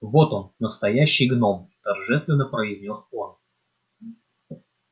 вот он настоящий гном торжественно произнёс он